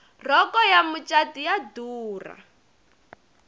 rhoko ya macatu yo durha